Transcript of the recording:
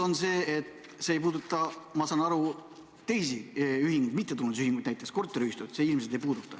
See ei puuduta, ma saan aru, teisi, mittetulundusühinguid, näiteks korteriühistuid.